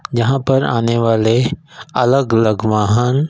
जहां पर आने वाले अलग अलग वाहन--